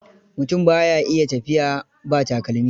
Mutum ba ya a iya tafiya ba takalmi.